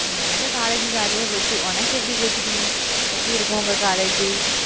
எனக்கு college jolly யா போச்சு. உனக்கு எப்படி போச்சுடி, எப்படி இருக்கும் உங்க college